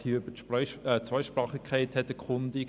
Sie hat sich hier nach der Zweisprachigkeit erkundigt.